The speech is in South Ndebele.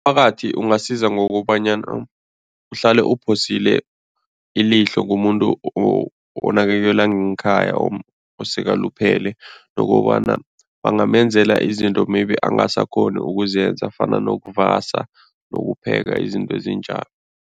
Umphakathi ungasiza ngokobanyana uhlale uphosile ilihlo kumuntu onakekelwa ngekhaya, osekaluphele nokobana bangamenzela izinto maybe angasakghoni ukuzenza fana nokuvasa nokupheka, izinto ezinjalo.